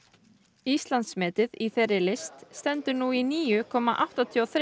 Íslandsmetið í þeirri list stendur nú í níu komma áttatíu og þremur